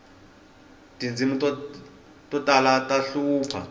tindzimi to tala ta hlupha